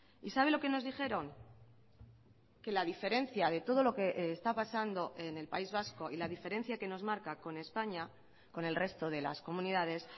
y sabe lo que nos dijeron que la diferencia de todo lo que está pasando en el país vasco y la diferencia que nos marca con españa con el resto de las comunidades